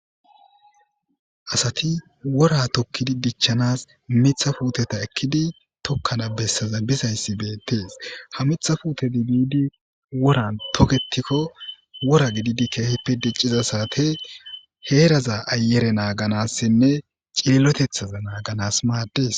asati wora tokkidi dichchanas mitha puuteta ekkidi tokkana bessaza bizayssi beettees ha mitha puute dibidi woran toketikko wora gididi keehippe dicciza saate heeraza ayere naaganassinne cililotethaza naaganas maaddes